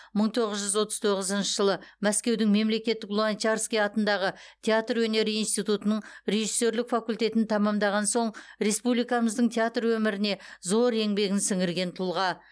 мың тоғыз жүз отыз тоғызыншы жылы мәскеудің мемлекеттік а в луначарский атындағы театр өнері институтының режиссерлік факультетін тәмамдаған соң республикамыздың театр өміріне зор еңбегін сіңірген тұлға